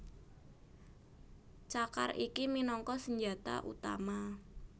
Cakar iki minangka senjata utama